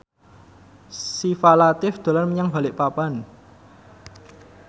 Syifa Latief dolan menyang Balikpapan